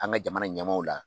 An ka jamana in ɲɛmaw la.